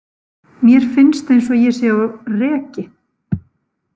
Mér finnst eins og ég sé á reki.